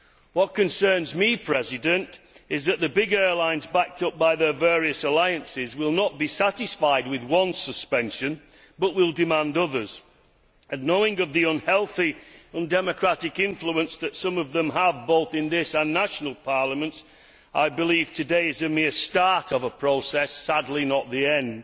What concerns me is that the big airlines, backed up by their various alliances, will not be satisfied with one suspension but will demand others and, knowing the unhealthy, undemocratic influence that some of them have both in this and national parliaments, I believe today is a mere start of a process, sadly not the end.